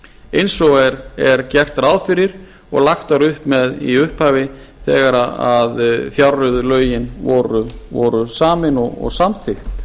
eins og er gert ráð fyrir og lagt var upp með í upphafi þegar fjárreiðulögin voru samin og samþykkt